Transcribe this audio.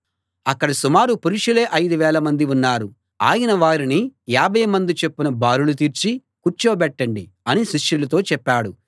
అక్కడ సుమారు పురుషులే ఐదు వేలమంది ఉన్నారు ఆయన వారిని యాభై మంది చొప్పున బారులు తీర్చి కూర్చోబెట్టండి అని శిష్యులతో చెప్పాడు